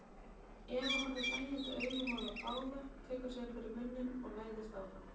Eva horfir hlæjandi augum á þá báða, tekur síðan fyrir munninn og læðist fram.